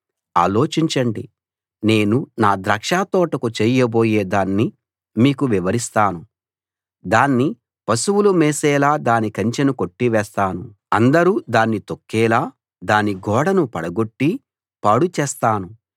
ఆలోచించండి నేను నా ద్రాక్షతోటకు చేయబోయే దాన్ని మీకు వివరిస్తాను దాన్ని పశువులు మేసేలా దాని కంచెను కొట్టి వేస్తాను అందరూ దాన్ని తొక్కేలా దాని గోడను పడగొట్టి పాడుచేస్తాను